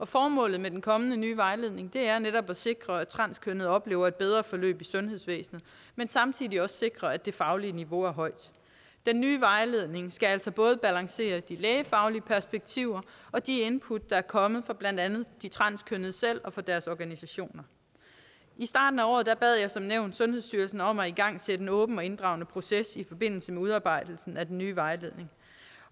formålet med den kommende nye vejledning er netop at sikre at transkønnede oplever et bedre forløb i sundhedsvæsenet men samtidig også sikre at det faglige niveau er højt den nye vejledning skal altså både balancere de lægefaglige perspektiver og de input der er kommet fra blandt andet de transkønnede selv og fra deres organisationer i starten af året bad jeg som nævnt sundhedsstyrelsen om at igangsætte en åben og inddragende proces i forbindelse med udarbejdelsen af den nye vejledning